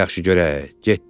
Yaxşı görək, getdik.